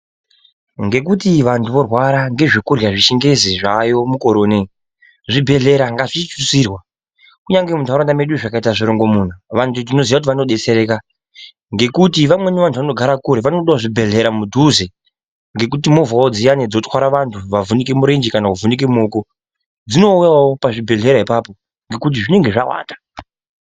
Ngekuti vantu vorwera ngezvekurya zvechingezi zvayo mukore unono. Zvibhedhlera ngazvititsirwa kunyange muntaraunda medu zvikatita zvirongomuna, vantu tinoziva kuti vanobetsereka. Ngekuti vamweni vantu vanogare kure vanodavo zvibhedhlera mudhuze. Ngekuti movhavo dziyani dzinotwara vantu vavhunike murenje kana vavhunike muoko. Dzinouyavo pazvibhedhlera ipapo ngekuti zvinenge zvawanda.